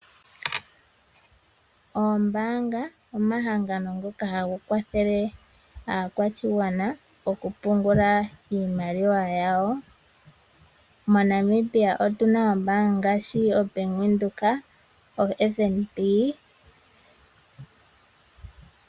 Oombaanga omahangano ngoka haga kwathele aakwashigwana oku pungula iimaliwa yawo. Mo Namibia otuna ombaanga ngaashi o Bank Windhoek no FNB.